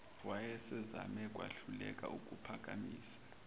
wayesezame wahluleka ukuphaphamisa